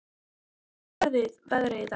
Harrý, hvernig er veðrið í dag?